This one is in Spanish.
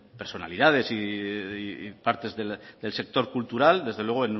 personalidades y parte del sector cultural desde luego